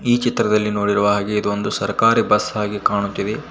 ಈ ಚಿತ್ರದಲ್ಲಿ ನೋಡಿರುವ ಹಾಗೆ ಇದೊಂದು ಸರ್ಕಾರಿ ಬಸ್ ಹಾಗಿ ಕಾಣುತ್ತಿದೆ.